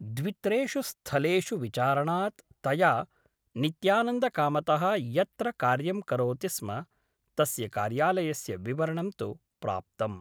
द्वित्रेषु स्थलेषु विचारणात् तया नित्यानन्दकामतः यत्र कार्यं करोति स्म तस्य कार्यालयस्य विवरणं तु प्राप्तम् ।